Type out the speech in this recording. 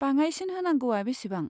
बाङाइसिन होनांगौआ बेसेबां?